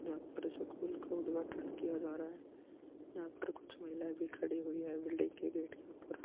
जहाँ पर सकूल का उद्घाटन किया जा रहा है यहाँ पर कुछ महिलाएँ भी खड़ी हुई है बिलडिंग के गेट के ऊपर --